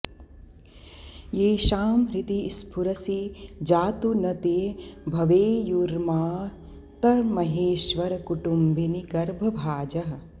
येषां हृदि स्फुरसि जातु न ते भवेयुर्मातर्महेश्वरकुटुम्बिनि गर्भभाजः